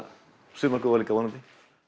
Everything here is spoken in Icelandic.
sumar góðar líka vonandi